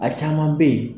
A caman bɛ yen